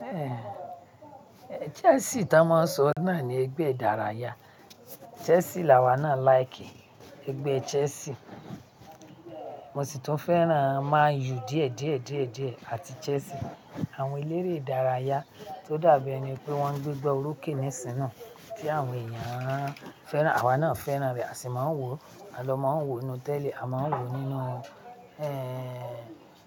Eh, Chelsea tá máa ń sọ náà ni ẹgbẹ́ ìdárayá. Chelsea làwa náà like. Ẹgbẹ́ Chelsea. Mo sì tún fẹ́ràn Man U díẹ̀ díẹ̀ díẹ̀ díẹ̀ àti Chelsea. Àwọn eléré ìdárayá tó dàbí ẹni pé wọ́n gbé gbá orókè nísìń naa tí àwọn èèyàn fẹ́ràn, àwa náà fẹ́ràn rẹ̀, a sì máa ń wò ó. A lọ máa ń wò ó nínú tẹ́lì, a máa ń wò ó nínú,